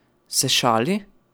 Se šali?